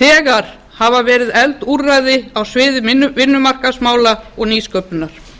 þegar hafa verið efld úrræði á sviði vinnumarkaðsmála og nýsköpunar